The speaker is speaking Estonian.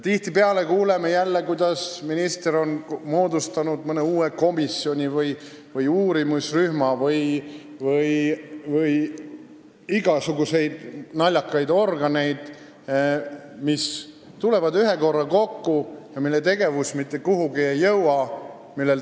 Tihtipeale kuuleme, et minister on moodustanud mõne uue komisjoni või uurimisrühma või igasuguseid naljakaid organeid, mis tulevad ühe korra kokku ja mille tegevus mitte kuhugi välja ei jõua.